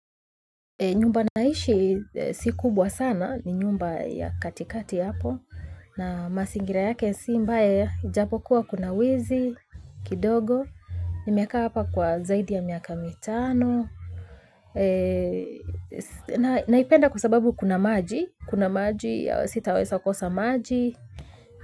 Nyumba naishi si kubwa sana, ni nyumba ya katikati hapo, na masingira yake si mbae, japo kuwa kuna wizi, kidogo, nimekaa hapa kwa zaidi ya miaka mitano, naipenda kwa sababu kuna maji, kuna maji, sitaweza kosa maji.